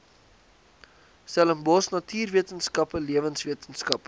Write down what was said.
stellenbosch natuurwetenskappe lewenswetenskappe